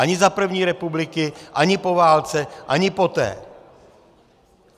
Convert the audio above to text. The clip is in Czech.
Ani za první republiky, ani po válce, ani poté.